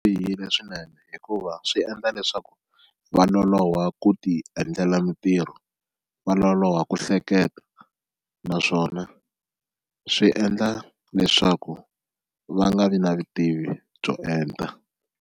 Swi bihile swinene hikuva swi endla leswaku va loloha ku ti endlela mintirho, va loloha ku hleketa naswona swi endla leswaku va nga vi na vutivi byo enta.